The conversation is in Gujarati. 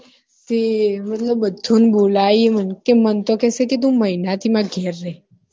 તે મતલબ બધા ને બોલાઈ હે તે મને તો કે સે કે તું મહિના થી મારા ઘેર રે